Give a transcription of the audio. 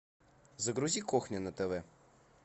загрузи кухня на тв